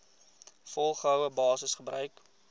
volgehoue basis gebruik